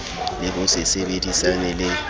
le ho se sebedisane le